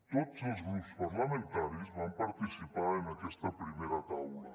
tots els grups parlamentaris van participar en aquesta primera taula